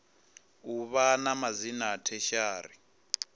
u vha na madzina tertiary